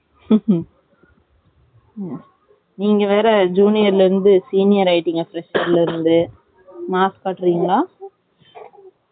நீங்க வேற junior ல இருந்து senior ஆகிட்டிங்க fresher ல இருந்து mass காட்டுரீங்கலா?